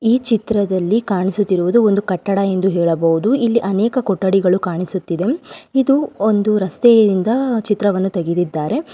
ಈ ಚಿತ್ರದಲ್ಲಿ ಕಾಣಿಸುತ್ತಾ ಇರುವುದು ಒಂದು ಕಟ್ಟಡ ಎಂದು ಹೇಳಬಹುದು ಇಲ್ಲಿ ಅನೇಕ ಕೊಠಡಿಗಳು ಕಾಣಿಸುತ್ತಿದೆ ಇದು ಒಂದು ರಸ್ತೆಯಿಂದ ಚಿತ್ರವನ್ನು ತೆಗೆದಿದ್ದಾರೆ.